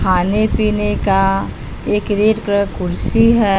खाने पीने का एक रेड कलर क कुर्सी है।